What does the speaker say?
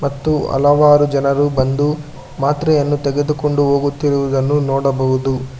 ಮತ್ತು ಜನರು ಬಂದು ಮಾತ್ರೆಯನ್ನು ತೆಗೆದುಕೊಂಡು ಹೋಗುತ್ತಿರುವುದನ್ನು ನೋಡಬಹುದು.